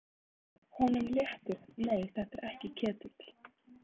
Honum léttir, nei, þetta er ekki Ketill.